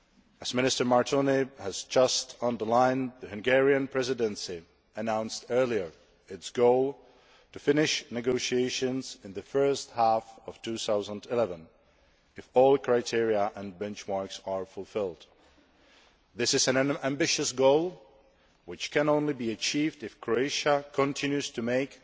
As Minister Martonyi has just underlined, the Hungarian Presidency announced earlier its goal to finish negotiations in the first half of 2011, if all criteria and benchmarks are fulfilled. This is an ambitious goal which can only be achieved if Croatia continues to make